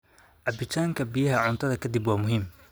Cabitaanka biyaha cuntada ka dib waa muhiim.